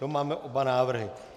To máme oba návrhy.